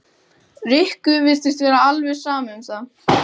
Rikku virtist vera alveg sama um það.